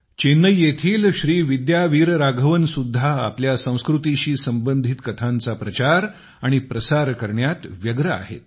चेन्नई येथील श्रीविद्या आणि राघवन सुद्धा आपल्या संस्कृतीशी संबंधित कथांचा प्रचार आणि प्रसार करण्यात व्यस्त आहेत